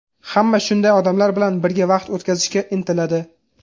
Hamma shunday odamlar bilan birga vaqt o‘tkazishga intiladi.